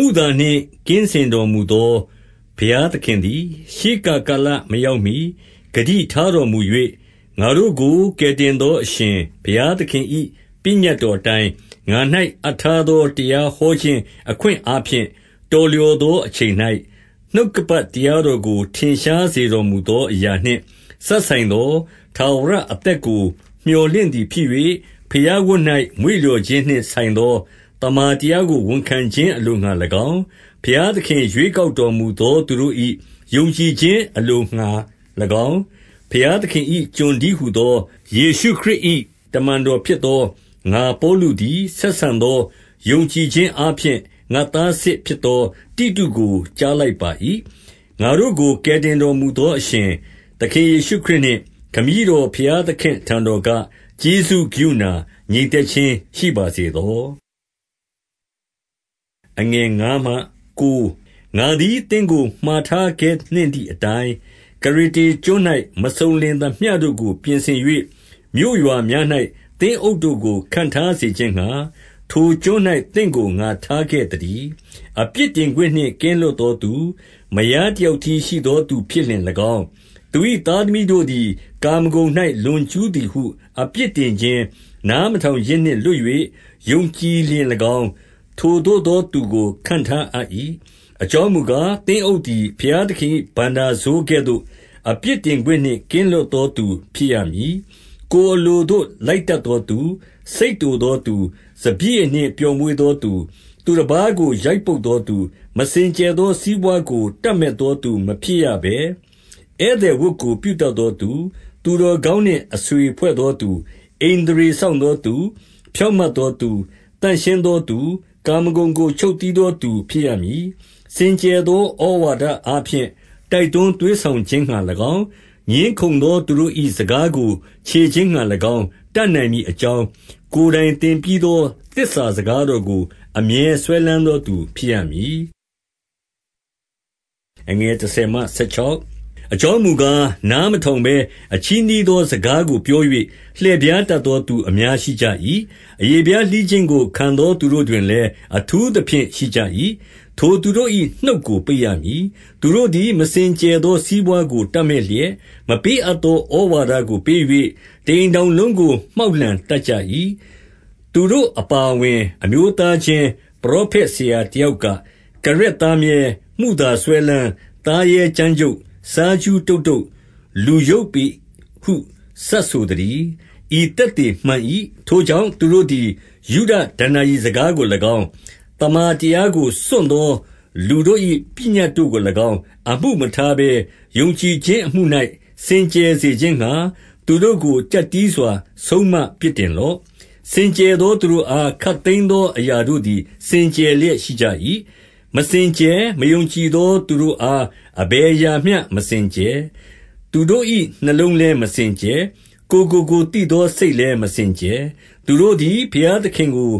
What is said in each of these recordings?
မုသာနှင့်ကင်းစင်တော်မူသော ဘုရားသခင်သည်၊ ရှေးကပ်ကာလမရောက်မှီ ဂတိထားတော်မူ၍၊ ငါတို့ကိုကယ်တင်သော အရှင်ဘုရားသခင်၏ ပညတ်တော်အတိုင်း၊ 2 ငါ၌အပ်ထားသော တရားဟောခြင်း၊ အခွင့်အားဖြင့် တော်လျော်သောအချိန်၌၊ နှုတ်ကပတ်တရားတော်ကို ထင်ရှားစေတော်မူသောအရာနှင့် စပ်ဆိုင်သောထာဝရအသက်ကို မြော်လင့်သည်ဖြစ်၍၊ ဘုရားဝတ်၌ မွေ့လျော်ခြင်းနှင့်ဆိုင်သော သမ္မာတရား ကိုဝန်ခံခြင်းအလိုငှါ၎င်း၊ 3 ဘုရားသခင် ရွေးကောက်တော်မူသော သူတို့၏ ယုံကြည်ခြင်းအလိုငှါ၎င်း၊ ဘုရားသခင်၏ ကျွန်တည်းဟူသော၊ ယေရှုခရစ်၏ တမန်တော်ဖြစ်သော ငါပေါလုသည်၊ 4 ဆက်ဆံသောယုံကြည်ခြင်းအားဖြင့် ငါ့သားစစ်ဖြစ်သော တိတုကိုကြားလိုက်ပါ၏။ ငါတို့ကိုကယ်တင် တော်မူသော အရှင်သခင်ယေရှုခရစ်နှင့် ခမည်းတော် ဘုရားသခင့်အထံတော်က ကျေးဇူး၊ ကရုဏာ၊ ငြိမ်သက် ခြင်းရှိပါစေသော။ 5 ငါသည် သင့်ကို မှာထားခဲ့နှင့်သည်အတိုင်း၊ ကရေတေကျွန်း၌ မစုံလင်သမျှတို့ကို ပြင်ဆင်၍၊ မြို့ရွာ များ၌ သင်းအုပ်တို့ကို ခန့်ထားစေခြင်းငှါ၊ ထိုကျွန်း၌ သင့်ကို ငါထားခဲ့သတည်း။ 6 အပြစ်တင်ခွင့်နှင့်ကင်းလွတ်သောသူ၊ မယားတယောက်တည်းရှိသောသူဖြစ်လျှင်၎င်း၊ သူ၏သားသမီး တို့သည် ကာမဂုဏ်၌ လွန်ကျူးသည်ဟု အပြစ်တင်ခြင်း၊ နားမထောင်ခြင်းနှင့် လွတ်၍ ယုံကြည်လျှင်၎င်း၊ ထိုသို့ သောသူကို ခန့်ထားအပ်၏။ 7 အကြောင်းမူကား၊ သင်းအုပ်သည် ဘုရားသခင်၏ ဘဏ္ဍာစိုးကဲ့သို့၊ အပြစ်တင်ခွင့်နှင့် ကင်းလွတ်သော သူဖြစ်ရမည်။ ကိုယ်အလိုသို့ လိုက်တတ်သောသူ၊ စိတ်တိုသောသူ၊ စပျစ်ရည်နှင့်ပျော်မွေ့သောသူ၊ သူတပါးကို ရိုက်ပုတ်သောသူ၊ မစင်ကြယ်သောစီးပွါးကို တပ်မက်သောသူ မဖြစ်ရဘဲ၊ 8 ဧည့်သည်ဝတ်ကို ပြုတတ်သောသူ၊ သူတော်ကောင်းနှင့် အဆွေဖွဲ့သောသူ၊ ဣန္ဒြေစောင့်သောသူ၊ ဖြောင့်မတ်သောသူ၊ သန့်ရှင်းသောသူ၊ ကာမဂုဏ်ကို ချုပ်တည်းသောသူဖြစ်ရမည်။ 9 စင်ကြယ်သော ဩဝါဒအားဖြင့် တိုက်တွန်းသွေးဆောင်ခြင်းငှါ၎င်း၊ ငြင်းခုံသောသူတို့၏ စကားကို ချေခြင်းငှါ၎င်း တတ်နိုင်မည်အကြောင်း၊ ကိုယ်တိုင်သင်ပြီးသောသစ္စာစကားတော်ကို အမြဲစွဲလမ်းသောသူ ဖြစ်ရမည်။ 10 အကြောင်းမူကား၊ နားမထောင်ဘဲ အချည်းနှီးသော စကားကိုပြော၍၊ လှည့်ဖြားတတ်သောသူအများ ရှိကြ၏။ အရေဖျားလှီးခြင်းကို ခံသောသူတို့တွင်လည်း အထူးသဖြင့်ရှိကြ၏။ 11 ထိုသူတို့၏နှုတ်ကိုပိတ်ရမည်။ သူတို့သည် မစင်ကြယ်သော စီးပွါးကိုတပ်မက်လျက်၊ မပေးအပ်သော ဩဝါဒကိုပေး၍၊ တအိမ်ထောင်လုံးကို မှောက်လှန်တတ်ကြ၏။ 12 သူတို့အပါအဝင်၊ အမျိုးသားချင်းပရောဖက် ဆရာတယောက်က၊ ကရက်သားမြဲ၊ မုသာစွဲလမ်း၊ သားရဲ ကြမ်းကြုတ်၊ စားကြူးတုတ်တုတ်၊ လူယုတ်ပေဟု စပ်ဆိုသတည်း။ 13 ဤသက်သေမှန်၏။ ထိုကြောင့်၊ သူတို့သည် ယုဒဒဏ္ဏာရီစကားကို၎င်း၊ သမ္မာတရား ကိုစွန့်သောလူတို့၏ ပညတ်တို့ကို၎င်း၊ 14 အမှုမထားဘဲ ယုံကြည်ခြင်းအမှု၌ စင်ကြယ်စေခြင်းငှါ၊ သူတို့ကို ကျပ်တည်းစွာ ဆုံးမပြစ်တင်လော့။ 15 စင်ကြယ်သောသူတို့အား ခပ်သိမ်းသောအရာတို့သည် စင်ကြယ်လျက်ရှိကြ၏။ မစင်ကြယ်၊ မယုံကြည် သောသူတို့အား အဘယ်အရာမျှ မစင်ကြယ်။ သူတို့၏ နှလုံးလည်း မစင်ကြယ်။ ကိုယ်ကိုကိုယ်သိသောစိတ် လည်းမစင်ကြယ်။ 16 သူတို့သည် ဘုရားသခင်ကို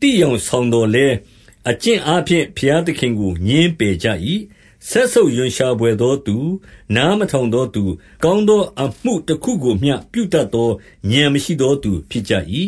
သိယောင်ဆောင်သော်လည်း။ အကျင့်အားဖြင့်ဘုရားသခင်ကို ငြင်းပယ် ကြ၏။ စက်ဆုပ်ရွံ့ရှာဘွယ်သောသူ၊ နားမထောင်သောသူ၊ ကောင်းသောအမှုတခုကိုမျှ ပြုတတ်သော ဥာဏ် မရှိသောသူဖြစ်ကြ၏